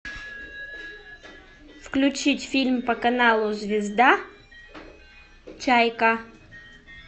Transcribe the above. включить фильм по каналу звезда чайка